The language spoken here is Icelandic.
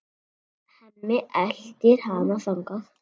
Hemmi eltir hana þangað.